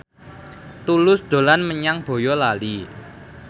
Tulus dolan menyang Boyolali